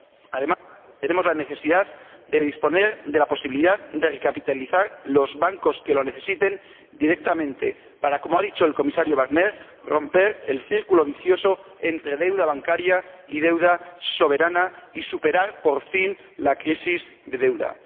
Además, tenemos la necesidad de disponer de la posibilidad de recapitalizar directamente los bancos que lo necesiten para romper, como ha dicho el Comisario Barnier, el círculo vicioso entre deuda bancaria y deuda soberana, y superar, por fin, la crisis de deuda.